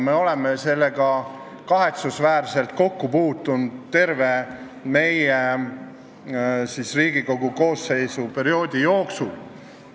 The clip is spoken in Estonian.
Me oleme sellega kahetsusväärselt kokku puutunud terve selle Riigikogu koosseisu tööperioodi jooksul.